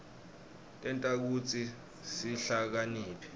tenta kutsi sihlakaniphe